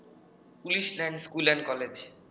police line school and কলেজে